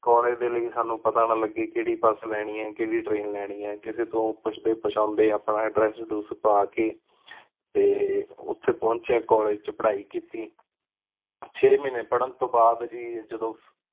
college ਦੇ ਲੈ ਸਾਨੂ ਪਤਾ ਨਾ ਲਗੇ ਕੇਹੜੀ ਬਸ ਲੇਨੀ ਆਯ ਕੇਹੜੀ ਟ੍ਰੈਨ ਲੇਨੀ ਆਯ ਕਿਸੀ ਤੋਂ ਪੁੱਛਦੇ ਪੁਛਾਂਦੇ ਆਪਾਂ address ਦੁਸ ਪਾ ਕੇ ਤੇ ਓਥੇ ਪੌਂਚੇ ਕਾਲੇਜ ਚ ਪਢ਼ਾਈ ਕੀਤੀ ਛੇ ਮਹੀਨੇ ਪੜਣ ਤੋ ਬਾਦ ਗੀ ਜਦੋਂ